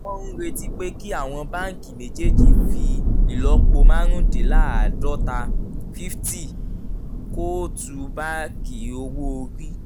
wọ́n ń retí pé kí àwọn báńkì méjèèjì fi ìlọ́po márùndínláàádọ́ta fiffty kóòtù báàkì owó orí